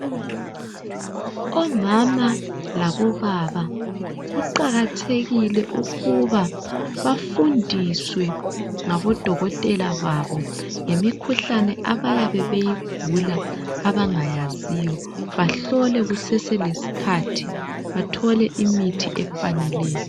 Omama labo baba, kuqakathekile ukuba bafundiswe ngabodokotela babo, ngemikhuhlane abayabe beyigula abangayaziyo, bahlolwe kuseselesikhathi, bathole imithi efaneleyo.